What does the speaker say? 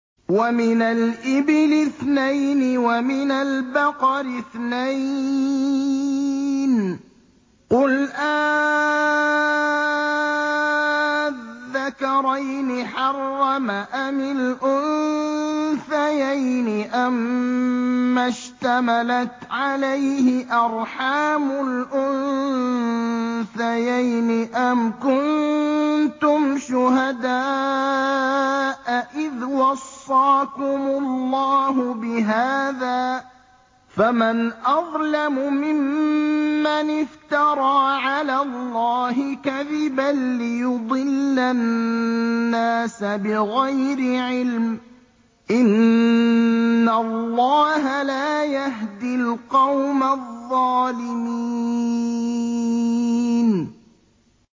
وَمِنَ الْإِبِلِ اثْنَيْنِ وَمِنَ الْبَقَرِ اثْنَيْنِ ۗ قُلْ آلذَّكَرَيْنِ حَرَّمَ أَمِ الْأُنثَيَيْنِ أَمَّا اشْتَمَلَتْ عَلَيْهِ أَرْحَامُ الْأُنثَيَيْنِ ۖ أَمْ كُنتُمْ شُهَدَاءَ إِذْ وَصَّاكُمُ اللَّهُ بِهَٰذَا ۚ فَمَنْ أَظْلَمُ مِمَّنِ افْتَرَىٰ عَلَى اللَّهِ كَذِبًا لِّيُضِلَّ النَّاسَ بِغَيْرِ عِلْمٍ ۗ إِنَّ اللَّهَ لَا يَهْدِي الْقَوْمَ الظَّالِمِينَ